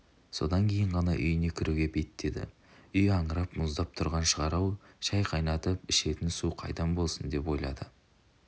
содан кейін ғана үйіне кіруге беттеді үй аңырап мұздап тұрған шығар-ау шай қайнатып ішетін су қайдан болсын деп ойлады